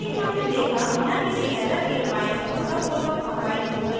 जैसे कि हमने देखा बिना किसी एरर के फ़ाइल सफलतापूर्वक compiled हो गई है